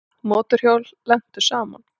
Mótorhjól lentu saman